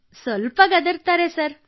ಕೃತ್ತಿಕಾ ಹೌದು ಸರ್ ಗದರುತ್ತಾರೆ